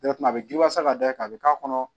a bɛ ji wasa ka dayɛlɛ a bɛ k'a kɔnɔ